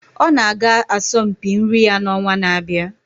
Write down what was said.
ọ na-aga asọmpi nri ya n'ọnwa na-abịa